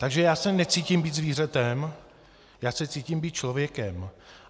Takže já se necítím být zvířetem, já se cítím být člověkem.